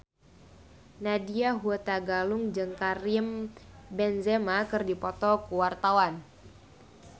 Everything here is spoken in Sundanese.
Nadya Hutagalung jeung Karim Benzema keur dipoto ku wartawan